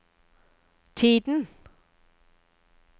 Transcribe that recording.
tiden